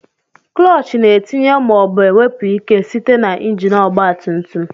Kulochi na-etinye ma obu enwepu ike site na injin ọgba tum tum